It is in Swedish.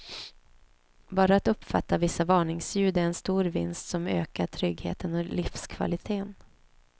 Bara att uppfatta vissa varningsljud är en stor vinst som ökar tryggheten och livskvaliteten.